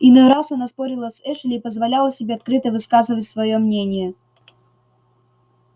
иной раз она спорила с эшли и позволяла себе открыто высказывать своё мнение